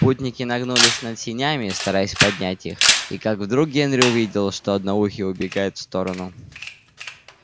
путники нагнулись над сенями стараясь поднять их и как вдруг генри увидел что одноухий убегает в сторону